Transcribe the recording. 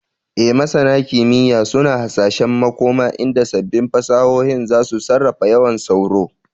E, Masana kimiyya suna hasashen makoma inda sabbin fasahohin za su sarrafa yawan sauro.